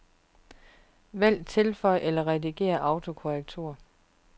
Vælg tilføj eller redigér autokorrektur.